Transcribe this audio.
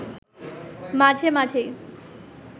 মাঝে মাঝেই